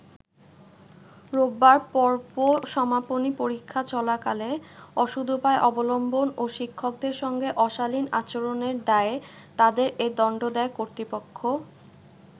রোববার পর্ব সমাপনী পরীক্ষা চলাকালে অসদুপায় অবলম্বন ও শিক্ষকদের সঙ্গে অশালীন আচরণের দায়ে তাদের এ দণ্ড দেয় কর্তৃপক্ষ।